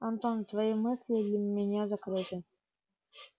антон твои мысли для меня закрыты